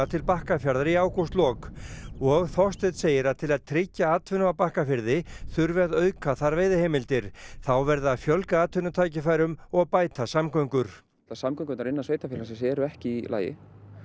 til Bakkafjarðar í ágústlok og Þorsteinn segir að til að tryggja atvinnu á Bakkafirði þurfi að auka þar veiðiheimildir þá verði að fjölga atvinnutækifærum og bæta samgöngur samgöngurnar innan sveitarfélagsins eru ekki í lagi